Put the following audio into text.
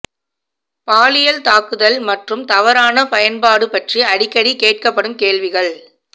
பாலியல் தாக்குதல் மற்றும் தவறான பயன்பாடு பற்றி அடிக்கடி கேட்கப்படும் கேள்விகள்